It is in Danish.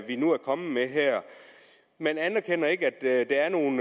vi nu er kommet med her man anerkender ikke at der er nogle